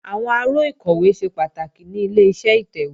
Àwọn aró ìkọ̀wé ṣe pàtàkì ní Ileṣẹ́ ìtẹ̀wé